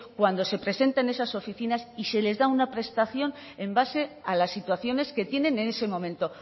cuando se presenta en esas oficinas y se les da una prestación en base a las situaciones que tienen en ese momento